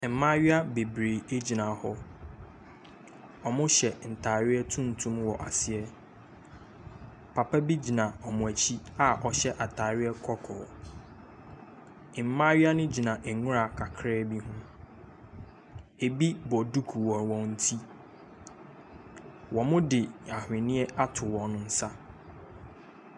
Mmaayaa bebiree gyina hɔ. Wɔhyɛ ntaareɛ tuntum wɔ aseɛ. Papa bi gyina wɔn akyi a ɔhyɛ ataareɛ Kɔkɔɔ. Mmaayaa no gyina nwira kakra bi ho. Ebi bɔ duku wɔ wɔn ti. Wɔde ahweneɛ ato wɔn nsa.